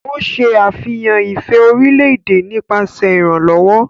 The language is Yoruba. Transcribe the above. O ṣe àfihàn ifẹ orilẹ-ede nípasẹ iranlọwọ.